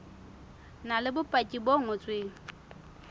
na le bopaki bo ngotsweng